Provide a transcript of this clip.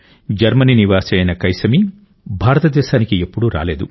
Germany నివాసి అయిన కైసమీ భారతదేశానికి ఎప్పుడూ రాలేదు